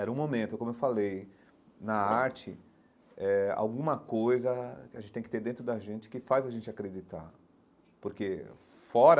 Era um momento, como eu falei, na arte, eh alguma coisa que a gente tem que ter dentro da gente que faz a gente acreditar, porque fora